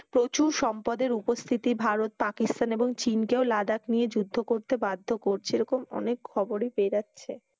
প্রচুর সম্পদের উপস্থিতি ভারত পাকিস্তান এবং চিনকেও লাদাখ নিয়ে যুদ্ধ করতে বাধ্য করছে এরকম অনেক খবরই পেয়ে যাচ্ছে।